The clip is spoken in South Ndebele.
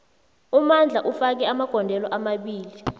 umandla ufake amagondelo amabili